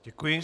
Děkuji.